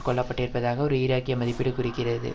கொல்லப்பட்டிருப்பதாக ஒரு ஈராக்கிய மதிப்பீடு கூறிக்கிறது